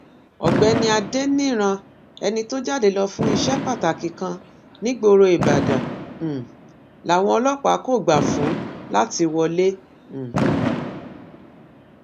ọgbẹni adẹnirán ẹni tó jáde lọ fún iṣẹ pàtàkì kan nígboro ìbàdàn um làwọn ọlọpàá kò gbà fún láti wọlé um